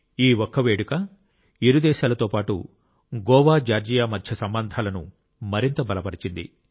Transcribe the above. ఈ ఒక్క వేడుక ఇరు దేశాలతో పాటు గోవా జార్జియా మధ్య సంబంధాలను మరింత బలపరిచింది